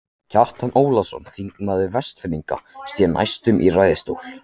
Kjartan Ólafsson, þingmaður Vestfirðinga, sté næstur í ræðustól.